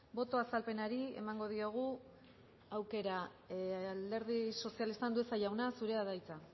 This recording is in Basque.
boto azalpenari emango diogu aukera alderdi sozialista andueza jauna zurea da hitza